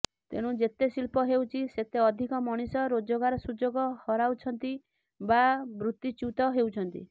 ତେଣୁ ଯେତେ ଶିଳ୍ପ ହେଉଛି ସେତେ ଅଧିକ ମଣିଷ ରୋଜଗାର ସୁଯୋଗ ହରାଉଛନ୍ତି ବା ବୃତ୍ତିଚ୍ୟୁତ ହେଉଛନ୍ତି